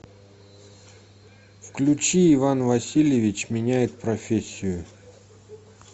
включи иван васильевич меняет профессию